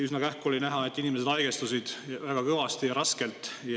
Üsna kähku oli näha, et inimesed haigestusid väga kõvasti ja raskelt.